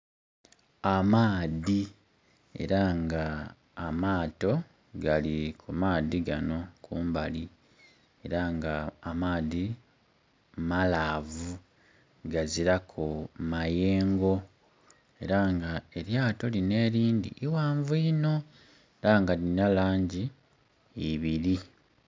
Amaadhi era nga amaato gali ku maadhi ganho kumbali, era nga amaadhi malaavu, gazilaku mayengo, era nga elyato lino elindhi ighanvu inho era nga lirina langi ibiri.